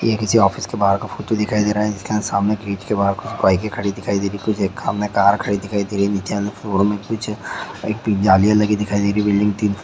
ये किसी ऑफिस के बाहर का फोटो दिखाई दे रहा है जिसका सामने गेट के बाहर बाइके खड़ी दिखाई दे रही हैं। कुछ एक सामने कार खड़ी दिखाई दे रही है पीछे एक जालियां लगी दिखाई दे रही है बिल्डिंग तीन--